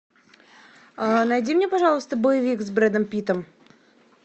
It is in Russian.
найди мне пожалуйста боевик с брэдом питтом